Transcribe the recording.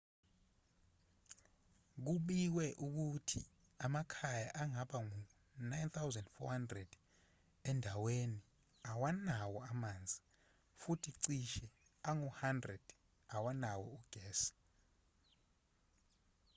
kubikwe ukuthi amakhaya angaba ngu-9400 endaweni awanawo amanzi futhi cishe angu-100 awanawo ugesi